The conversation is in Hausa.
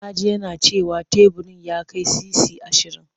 Na ji yana cewa teburin ya kai sisi ashirin.